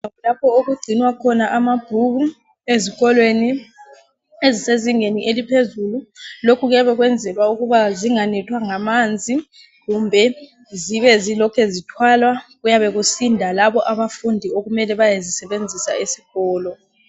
Indlu lapho okunzinwa khona amabhuku ezikolweni ezisezingeni eliphezulu. Lokhu kuyenzelwa ukuthi zinganethwa ngamanzi kumbe zibe ziloku zithwalwa kuyabe kusinda labo bafundi okumele bayezisebenzisa esikolo.